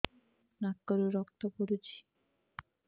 ନାକରୁ ରକ୍ତ ପଡୁଛି